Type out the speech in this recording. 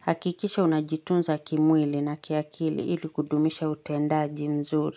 Hakikisha unajitunza kimwili na kiakili ili kudumisha utendaji mzuri.